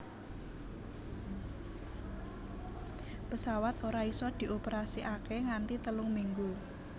Pesawat ora isa dioperasikake nganti telung minggu